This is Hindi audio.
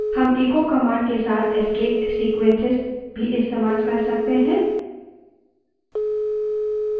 हम echo command के साथ escape sequences भी इस्तेमाल कर सकते हैं